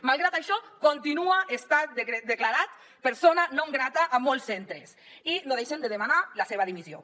malgrat això continua sent declarat persona non grata a molts centres i no deixen de demanar la seva dimissió